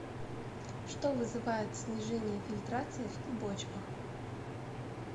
что вызывает снижение фильтрации в клубочках